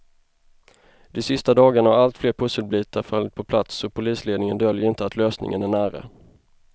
De sista dagarna har allt fler pusselbitar fallit på plats och polisledningen döljer inte att lösningen är nära.